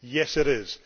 Yes it is.